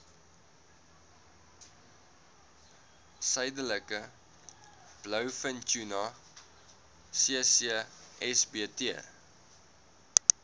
suidelike blouvintuna ccsbt